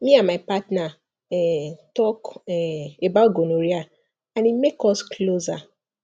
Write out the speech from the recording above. me and my partner um talk um about gonorrhea and e make us closer